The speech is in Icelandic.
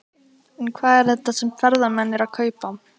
En hvað er þetta sem ferðamenn eru að kaupa?